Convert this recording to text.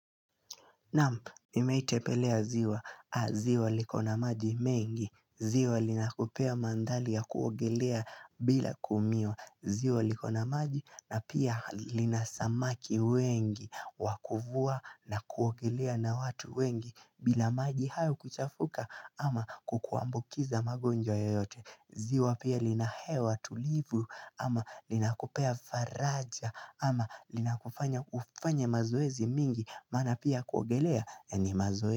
Namu, imeitepelea ziwa. Ziwa likona maji mengi. Ziwa linakupea mandari ya kuogelea bila kuumia. Ziwa likona maji na pia lina samaki wengi wakuvua na kuogelea na watu wengi bila maji hao kuchafuka ama kukuambukiza magonjwa yoyote. Ziwa pia linahewa tulivu ama linakopea faraja ama linakufanya ufanye mazoezi mingi Mana pia kuogelea ni mazoezi.